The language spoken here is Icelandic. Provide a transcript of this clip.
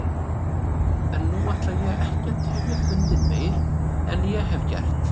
En nú ætla ég ekki að tefja fundinn meir en ég hef gert.